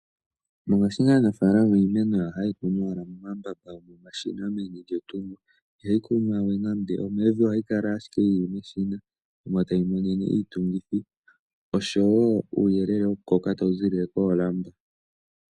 Mongashingeyi aanafalama iimeno yawo ohaye yi kunu owala momambamba gomashina meni lyetungo ihayi kunwa we nando omevi. Ohayi kala ashike yi li meshina omo tayi monene iitungithi osho wo uuyelele wokukoka tawu ziilile koolamba.